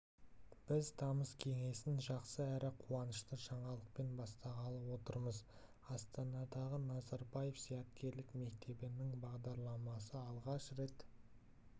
біз тамыз кеңесін жақсы әрі қуанышты жаңалықпен бастағалы отырмыз астанадағы назарбаев зияткерлік мектебінің бағдарламасы алғаш рет